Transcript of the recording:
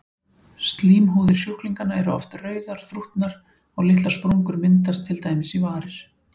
Slímhúðir sjúklinganna eru oft rauðar, þrútnar og litlar sprungur myndast til dæmis í varir.